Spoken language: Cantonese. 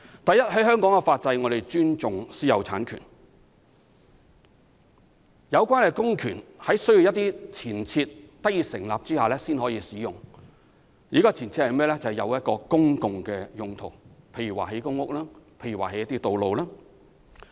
第一，香港的法制尊重私有產權，要收回土地一定要符合一些確立的前設條件，例如收地作公共用途，包括興建公屋和道路。